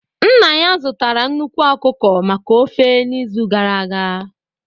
Nna ya zụtara nnukwu ọkụkọ maka ofe n'izu gara aga